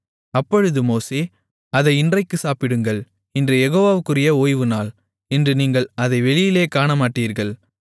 அப்பொழுது மோசே அதை இன்றைக்குச் சாப்பிடுங்கள் இன்று யெகோவாவுக்குரிய ஓய்வுநாள் இன்று நீங்கள் அதை வெளியிலே காணமாட்டீர்கள்